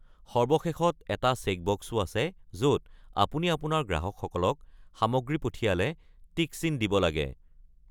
একেবাৰে তলৰ পিনে এটা চেকবক্সো আছে য'ত আপুনি আপোনাৰ গ্ৰাহকসকলক সামগ্ৰী পঠিয়ায় যদি টিক চিন দিব লাগে।